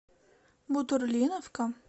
бутурлиновка